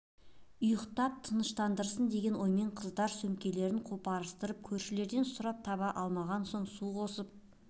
ұйықтап тыныштандырсын деген оймен қыздар сөмкелерін қопарыстырып көршілерден сұрап таба алмаған соң су қосып